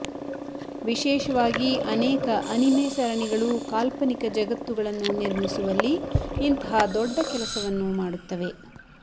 ವಿಶೇಷವಾಗಿ ಅನೇಕ ಅನಿಮೆ ಸರಣಿಗಳು ಕಾಲ್ಪನಿಕ ಜಗತ್ತುಗಳನ್ನು ನಿರ್ಮಿಸುವಲ್ಲಿ ಇಂತಹ ದೊಡ್ಡ ಕೆಲಸವನ್ನು ಮಾಡುತ್ತವೆ